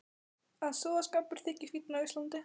Að sóðaskapur þyki fínn á Íslandi.